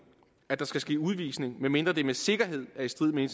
at der skal ske udvisning medmindre det med sikkerhed er i strid med